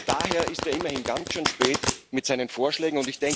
Daher ist er immerhin ganz schön spät mit seinen Vorschlägen.